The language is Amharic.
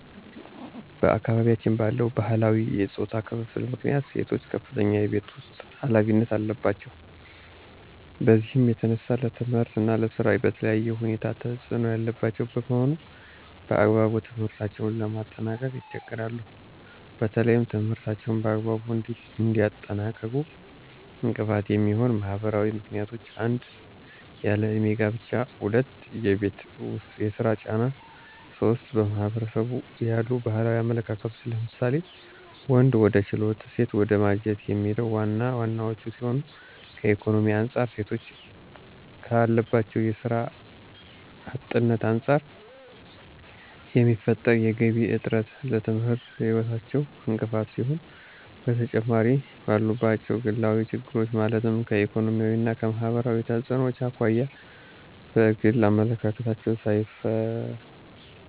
በአካባቢያችን ባለው ባህላዊ የፆታ ክፍፍል ምክንያት ሴቶች ከፍተኛ የቤት ውስጥ ኃላፊነት አለባቸው። በዚህም የተነሳ ለትምህርት እና ለስራ በተለየ ሁኔታ ተፅዕኖ ያለባቸው በመሆኑ በአግባቡ ትምህርታቸውን ለማጠናቀቅ ይቸገራሉ። በተለይም ትምህርታቸውን በአግባቡ እንዳያጠናቅቁ እንቅፋት የሚሆኑ ማህበራዊ ምክንያቶች 1- ያለ እድሜ ጋብቻ 2- የቤት ውስጥ የስራ ጫና 3- በማህበረሰቡ ያሉ ባህላዊ አመለካከቶች ለምሳሌ:- ወንድ ወደ ችሎት ሴት ወደ ማጀት የሚሉት ዋና ዋናወቹ ሲሆኑ ከኢኮኖሚ አንፃር ሴቶች ካለባቸው የስራ አጥነት አንፃር የሚፈጠር የገቢ እጥረት ለትምህርት ህይወታቸው እንቅፋት ሲሆን በተጨማሪምባሉባቸው ግላዊ ችግሮች ማለትም ከኢኮኖሚያዊ እና ማህበራዊ ተፅዕኖዎች አኳያ በግል አመለካከታቸው